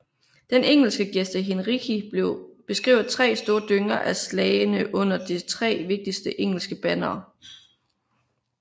Den engelske Gesta Henrici beskriver tre store dynger af slagne under det tre vigtigste engelske bannere